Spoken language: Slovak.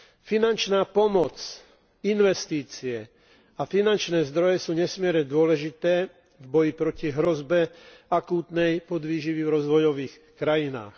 Finančná pomoc, investície a finančné zdroje sú nesmierne dôležité v boji proti hrozbe akútnej podvýživy v rozvojových krajinách.